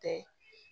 Tɛ